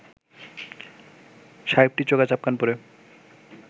সাহেবটি চোগা চাপকান পরে